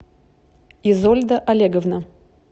изольда олеговна